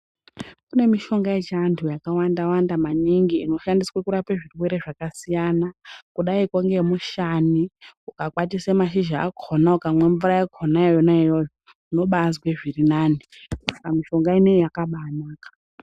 Kune mishonga yechiantu yakawanda-wanda maningi inoshandiswa kurape zvirwere zvakasiyana kudayiko ngemushani. Ukakwatisa mashizha akona, ukamwa mvura yakona yonaiyoyo, unobaazwe zviri nani, saka mishonga ineyi yakabayinaka.